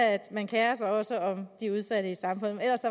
at man kerer sig også om de udsatte i samfundet men ellers